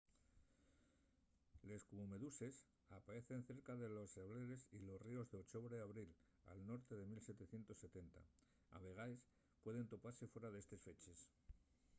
les cubomeduses apaecen cerca de les sableres y los ríos d'ochobre a abril al norte de 1770 a vegaes pueden topase fuera d'estes feches